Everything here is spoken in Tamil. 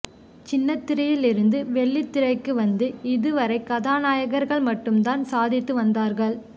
சின்னத்திரையில் இருந்து வெள்ளித்திரைக்கு வந்து இதுவரை கதாநாயகர்கள் மட்டும் தான் சாதித்து வந்தார்கள்